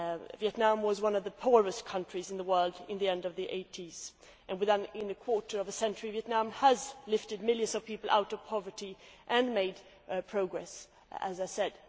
Vietnam was one of the poorest countries in the world at the end of the eighties and within a quarter of a century Vietnam has lifted millions of people out of poverty and made progress, as I said.